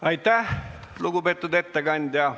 Aitäh, lugupeetud ettekandja!